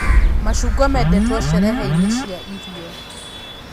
Macungwa mendetwo cerehe-inĩ cia irio